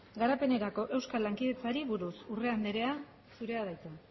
garapenerako euskal lankidetzari buruz urrea anderea zurea da hitza